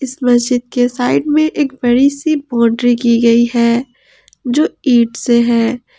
मस्जिद के साइड में एक बड़ी सी बॉउंड्री की गई है जो ईंट से है।